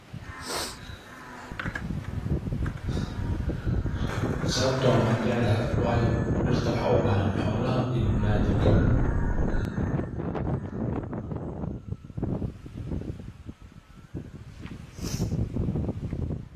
Sababta oo ah waan jeclahay waayo dirta waxaa ubahan xolaha iyo biniadamka.